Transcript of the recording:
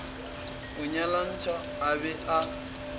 a nyalantšhwa a be a